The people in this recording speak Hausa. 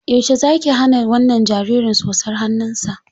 Yaushe zaki hana wannan jariri tsotsar hannunsa?